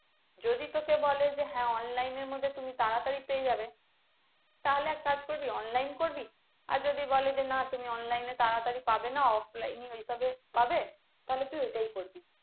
যদি তোকে বলে যে হ্যাঁ online এর মধ্যে তুমি তাড়াতাড়ি পেয়ে যাবে, তাহলে এক কাজ করবি online করবি আর যদি বলে যে না তুমি online এ তাড়াতাড়ি পাবে না offline এ হিসাবে পাবে তাহলে তুই ওইটাই করবি।